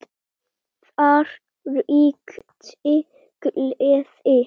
Þar ríkti gleði.